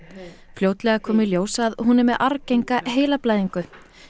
fljótlega kom í ljós að hún er með arfgenga heilablæðingu